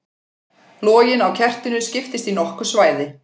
Loginn á kertinu skiptist í nokkur svæði.